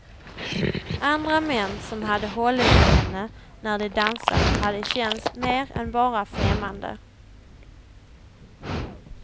Andra män som hade hållit i henne när de dansat hade känts mer än bara främmande.